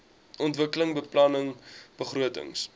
ontwikkelingsbeplanningbegrotings